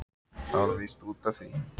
Það var víst út af því!